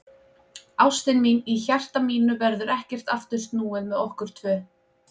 Ástin mín, í hjarta mínu verður ekkert aftur snúið með okkur tvö.